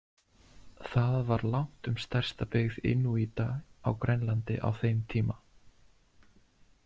Það var langtum stærsta byggð inúíta á Grænlandi á þeim tíma.